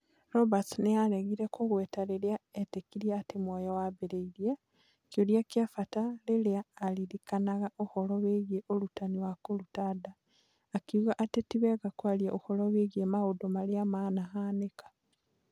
Roberts nĩ aaregire kũgweta rĩrĩa etĩkĩtie atĩ muoyo wambĩrĩirie, kĩũria kĩa bata rĩrĩa aririkanaga ũhoro wĩgiĩ ũrutani wa kũruta nda, akiuga atĩ ti wega kwaria ũhoro wĩgiĩ maũndũ marĩa manĩhanĩka.